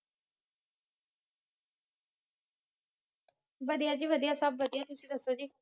ਵੱਡੀਆਂ ਜੀ ਵੱਡੀਆਂ ਤੁਸੀ ਦਸੋ ਜੀ